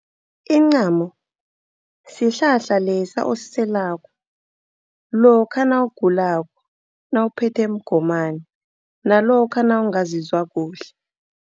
Incamo sihlahla lesa osiselako lokha nawugulako, nawuphethwe mgomani nalokha nawungazizwa kuhle.